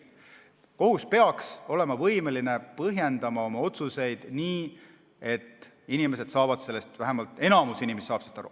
Kohus peaks olema võimeline põhjendama oma otsuseid nii, et inimesed saaksid sellest aru, nii, et vähemalt enamik inimesi saaks sellest aru.